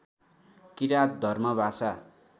किराँत धर्म भाषा